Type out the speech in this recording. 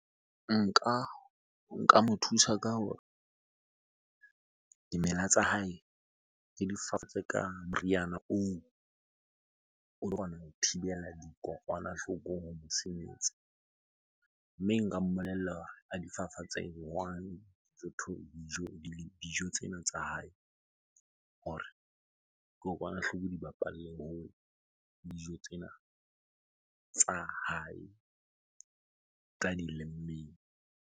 Nka mo thusa ka hore dimela tsa hae ke di fafatse ka moriana oo o tlo kgona ho thibela dikokwanahloko ho . Mme nka mmolella a difafatse jwang dijo tsena tsa hae? Hore kokwanahloko di bapalle hole le dijo tsena tsa hae tsa di lemmeng.